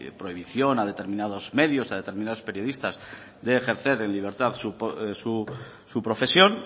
prohibición a determinados medios a determinados periodistas de ejercer en libertad su profesión